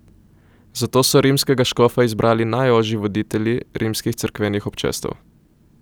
Zato so rimskega škofa izbirali najožji voditelji rimskih cerkvenih občestev.